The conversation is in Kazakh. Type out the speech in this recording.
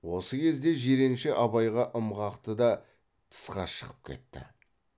осы кезде жиренше абайға ым қақты да тысқа шығып кетті